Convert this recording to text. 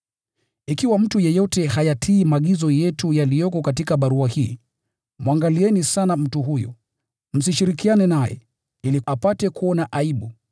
Ikiwa mtu yeyote hayatii maagizo yetu yaliyoko katika barua hii, mwangalieni sana mtu huyo. Msishirikiane naye, ili apate kuona aibu.